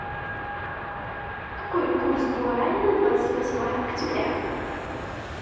какой курс гуарани на двадцать восьмое октября